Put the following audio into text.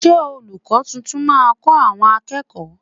Ṣé olùkó tuntun máa kọ àwọn akẹ́kọ̀ọ́?